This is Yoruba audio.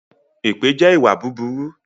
Èpè jẹ́ ìwà búburú